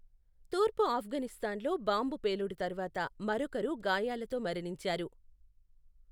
తూర్పు ఆఫ్ఘనిస్తాన్లో బాంబు పేలుడు తర్వాత మరొకరు గాయాలతో మరణించారు.